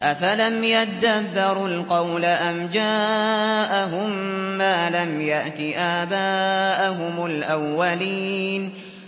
أَفَلَمْ يَدَّبَّرُوا الْقَوْلَ أَمْ جَاءَهُم مَّا لَمْ يَأْتِ آبَاءَهُمُ الْأَوَّلِينَ